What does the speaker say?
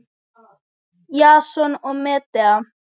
Jason og Medea.